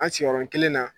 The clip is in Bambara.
An sigiyɔrɔ kelen na